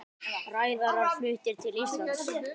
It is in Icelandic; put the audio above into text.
Ræðarar fluttir til Íslands